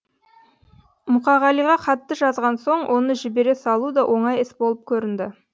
мұқағалиға хатты жазған соң оны жібере салу да оңай іс болып көрінді